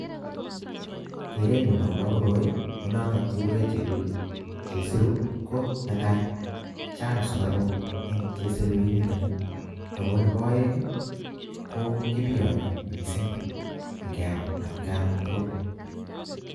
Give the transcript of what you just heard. kerenyun akopa korooi nenotok kekure chelulu.. chesiru ko netai kochang sugaruk eng chesiuinitok ako nepaeng, ko kebiyanyi missing engeam at kain kotugul.